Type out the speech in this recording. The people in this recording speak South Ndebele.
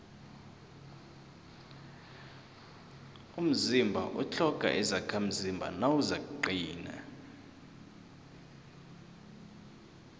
umzimba utlhoga izakhamzimba nawuzakuqina